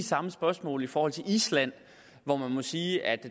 samme spørgsmål i forhold til island hvor man må sige at